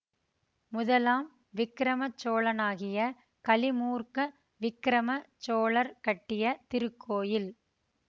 முதலாம் விக்கிரம சோழனாகிய கலிமூர்க்க விக்கிரம சோழர் கட்டிய திருக்கோயில்